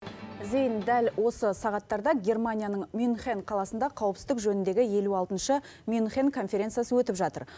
зейін дәл осы сағаттарда германияның мюнхен қаласында қауіпсіздік жөніндегі елу алтыншы мюнхен конференциясы өтіп жатыр